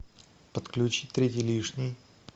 подключи третий лишний